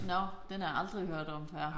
Nåh den har jeg aldrig hørt om før